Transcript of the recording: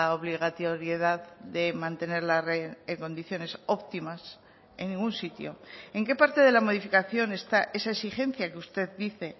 obligatoriedad de mantener la red en condiciones óptimas en ningún sitio en qué parte de la modificación está esa exigencia que usted dice